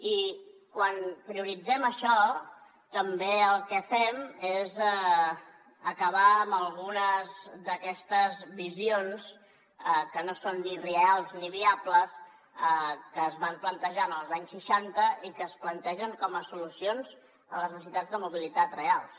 i quan prioritzem això també el que fem és acabar amb algunes d’aquestes visions que no són ni reals ni viables que es van plantejar en els anys seixanta i que es plantegen com a solucions a les necessitats de mobilitat reals